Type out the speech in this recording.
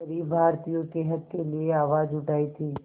ग़रीब भारतीयों के हक़ के लिए आवाज़ उठाई थी